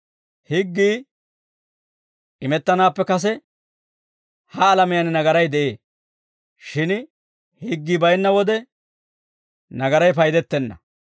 Higgii imettanaappe kase, ha alamiyaan nagaray de'ee; shin higgii baynna wode nagaray paydettenna.